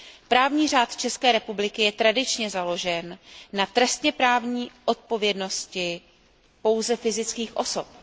Právní řád České republiky je tradičně založen na trestněprávní odpovědnosti pouze fyzických osob.